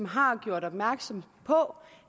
har gjort opmærksom på